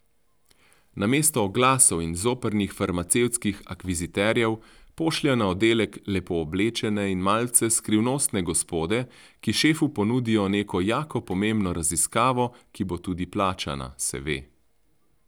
Namesto oglasov in zoprnih farmacevtskih akviziterjev pošljejo na oddelek lepo oblečene in malce skrivnostne gospode, ki šefu ponudijo neko jako pomembno raziskavo, ki bo tudi plačana, se ve.